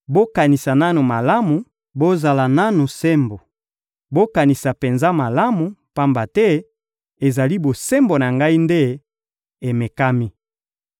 Bokanisa nanu malamu, bozala nanu sembo! Bokanisa penza malamu, pamba te ezali bosembo na ngai nde emekami.